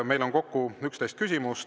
Meil on kokku 11 küsimust.